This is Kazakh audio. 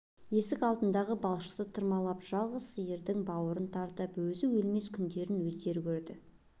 есік алдындағы бақшалықты тырмалап жалғыз сиырдың бауырын тартып өзі өлмес күндерін өздері көрді